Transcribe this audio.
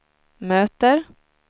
möter